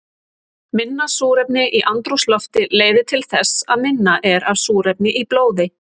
Minna súrefni í andrúmslofti leiðir til þess að minna er af súrefni í blóði.